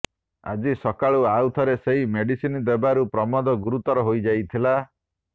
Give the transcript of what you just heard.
ଆଜି ସକାଳୁ ଆଉ ଥରେ ସେହି ମେଡ଼ିସିନ ଦେବାରୁ ପ୍ରମୋଦ ଗୁରୁତର ହୋଇଯାଇଥିଲା